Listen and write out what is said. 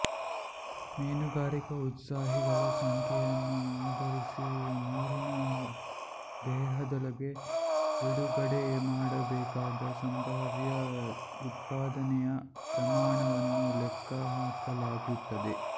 ಮೀನುಗಾರಿಕಾ ಉತ್ಸಾಹಿಗಳ ಸಂಖ್ಯೆಯನ್ನು ಆಧರಿಸಿ ನೀರಿನ ದೇಹದೊಳಗೆ ಬಿಡುಗಡೆ ಮಾಡಬೇಕಾದ ಸಂಭಾವ್ಯ ಉತ್ಪಾದನೆಯ ಪ್ರಮಾಣವನ್ನು ಲೆಕ್ಕಹಾಕಲಾಗುತ್ತದೆ